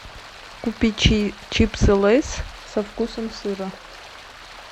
купить чипсы лейс со вкусом сыра